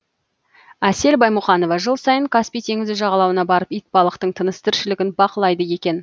әсел баймұқанова жыл сайын каспий теңізі жағалауына барып итбалықтың тыныс тіршілігін бақылайды екен